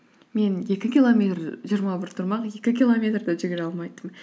мен екі километр жиырма бір тұрмақ екі километр де жүгіре алмайтынмын